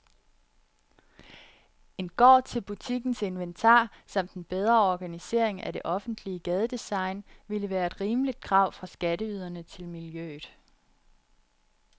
En gård til butikkens inventar samt en bedre organisering af det offentlige gadedesign ville være et rimeligt krav fra skatteyderne til miljøet.